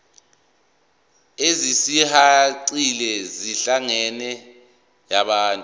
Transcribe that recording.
ezisihaqile zenhlalakahle yabantu